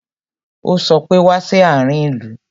Ó sọ pé "Wá sí àárín ìlú"